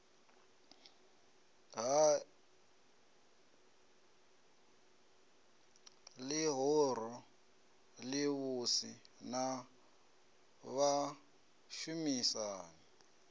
ha ḽihoro ḽivhusi na vhashumisani